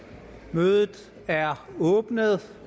mødet er åbnet